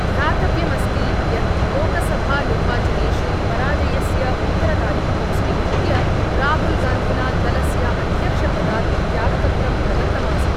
ध्यातव्यमस्ति यत् लोकसभानिर्वाचनेषु पराजयस्य उत्तरदायित्वं स्वीकृत्य राहुलगान्धिना दलस्य अध्यक्षपदात् त्यागपत्रं प्रदत्तमासीत्।